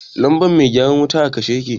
lambar mai gyara wuta a kashe yake.